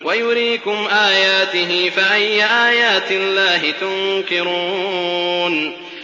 وَيُرِيكُمْ آيَاتِهِ فَأَيَّ آيَاتِ اللَّهِ تُنكِرُونَ